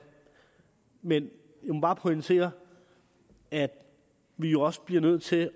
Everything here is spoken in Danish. men jeg må bare pointere at vi jo også bliver nødt til